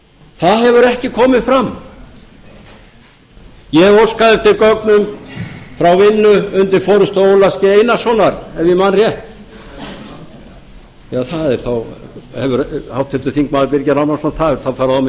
það hefur ekki komið fram ég óskaði eftir gögnum frá vinnu undir forustu ólafs g einarssonar ef ég man rétt háttvirtur þingmaður birgir ármannsson það hefur þá farið á mis við